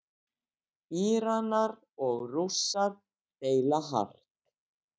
Íranar og Rússar deila hart